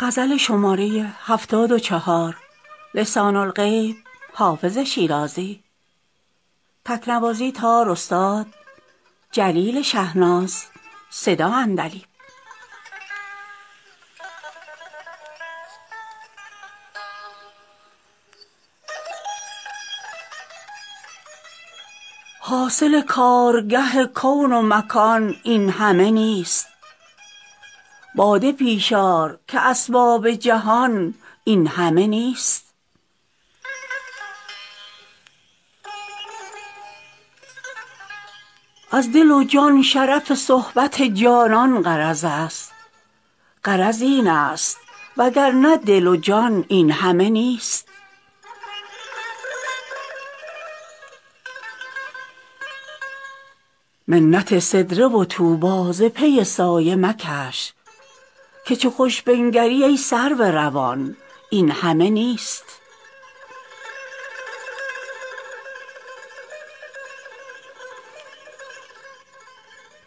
حاصل کارگه کون و مکان این همه نیست باده پیش آر که اسباب جهان این همه نیست از دل و جان شرف صحبت جانان غرض است غرض این است وگرنه دل و جان این همه نیست منت سدره و طوبی ز پی سایه مکش که چو خوش بنگری ای سرو روان این همه نیست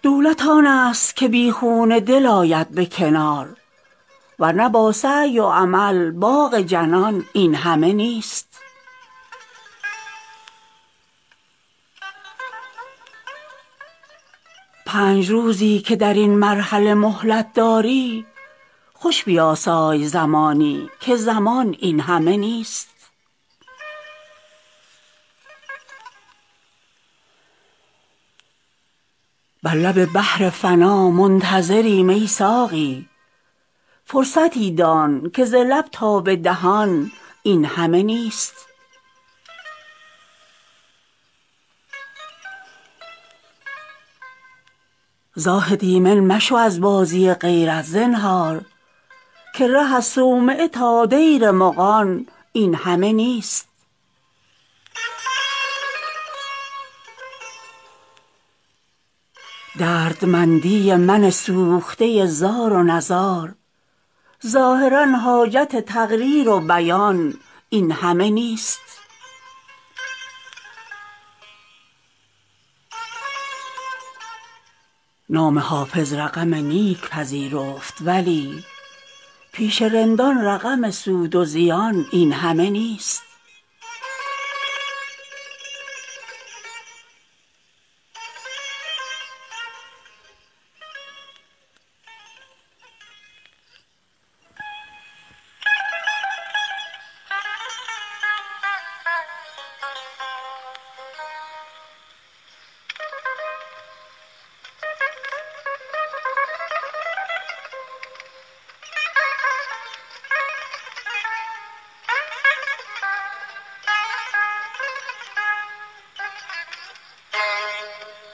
دولت آن است که بی خون دل آید به کنار ور نه با سعی و عمل باغ جنان این همه نیست پنج روزی که در این مرحله مهلت داری خوش بیاسای زمانی که زمان این همه نیست بر لب بحر فنا منتظریم ای ساقی فرصتی دان که ز لب تا به دهان این همه نیست زاهد ایمن مشو از بازی غیرت زنهار که ره از صومعه تا دیر مغان این همه نیست دردمندی من سوخته زار و نزار ظاهرا حاجت تقریر و بیان این همه نیست نام حافظ رقم نیک پذیرفت ولی پیش رندان رقم سود و زیان این همه نیست